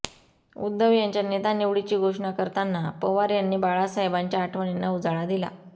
उद्धव यांच्या नेतानिवडीची घोषणा करताना पवार यांनी बाळासाहेबांच्या आठवणींना उजाळा दिला